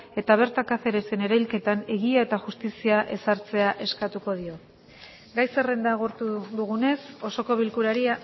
eta bertan cáceresen erailketan egia eta justizia ezartzea eskatuko diogu gai zerrenda agortu dugunez osoko bilkurari